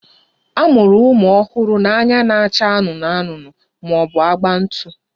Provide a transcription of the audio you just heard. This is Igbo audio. A mụrụ ụmụ ọhụrụ na anya na-acha anụnụ anụnụ ma ọ bụ agba ntụ